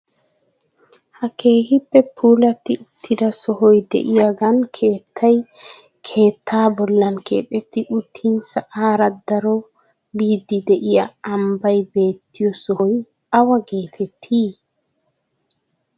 Ha keehippe puulatti uttida sohoy de'iyaagan keettay keettaa bollan keexetti uttin sa'aara daro biiddi de'iyoo ambbaay beettiyoo sohoy awa getettii?